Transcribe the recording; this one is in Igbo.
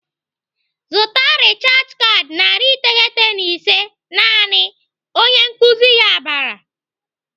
"Zụta rechaj kaadị narị iteghete na ise naanị!" Onye nkuzi ya bara.